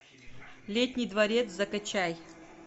летний дворец закачай